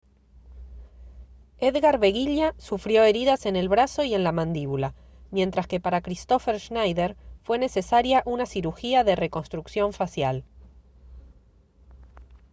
edgar veguilla sufrió heridas en el brazo y en la mandíbula mientras que para kristoffer schneider fue necesaria una cirugía de reconstrucción facial